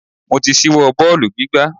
Mo ti ṣíwọ́ bọ́ọ̀lù gbígbá.